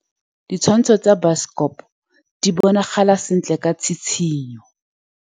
Ditshwantshô tsa biosekopo di bonagala sentle ka tshitshinyô.